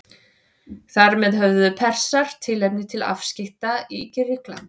Þar með höfðu Persar tilefni til afskipta í Grikklandi.